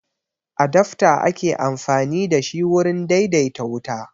Adafta ake amfani da shi wurin daidaita wuta